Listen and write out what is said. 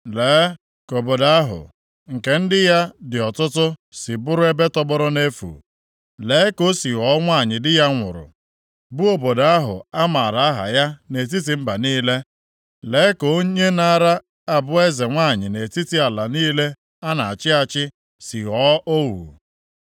Lee ka obodo ahụ nke ndị ya dị ọtụtụ si bụrụ ebe tọgbọrọ nʼefu! Lee ka o si ghọọ nwanyị di ya nwụrụ, bụ obodo ahụ a maara aha ya nʼetiti mba niile. Lee ka onye naara abụ eze nwanyị nʼetiti ala niile a na-achị achị si ghọọ ohu.